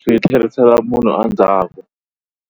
swi tlherisela munhu a ndzhaku.